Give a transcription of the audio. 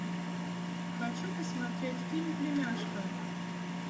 хочу посмотреть фильм племяшка